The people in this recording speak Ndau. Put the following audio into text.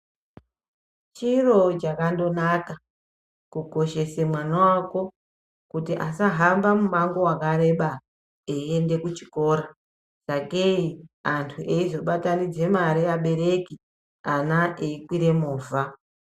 Chiro chakandonaka kukoshesa mwana wako kuti asahamba mumango wakareba eienda kuchikora sakei antu eizobatanidza mare abereki ana eikwira movha.